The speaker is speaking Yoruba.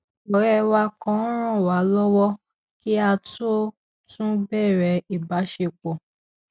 òré wa kan ràn wá lọwọ kí a tó tún bèrè ìbáṣepọ